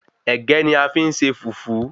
Ẹ̀gẹ́ ni a fi n se Fùfú